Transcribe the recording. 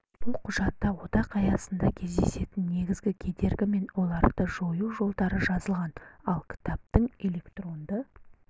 бұл құжатта одақ аясында кездесетін негізгі кедергі мен оларды жою жолдары жазылған ал кітаптың электронды